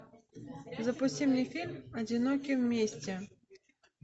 запусти мне фильм одиноки вместе